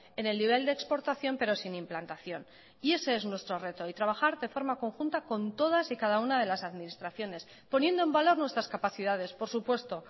en el nivel de exportación pero sin implantación y ese es nuestro reto y trabajar de forma conjunta con todas y cada una de las administraciones poniendo en valor nuestras capacidades por supuesto